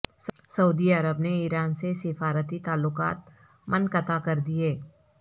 سعودی Arab نے Iran سے سفارتی تعلقات منقطع کر دیے